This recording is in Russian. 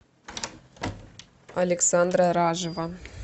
александра ражева